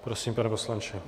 Prosím, pane poslanče.